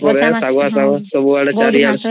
ଅମ୍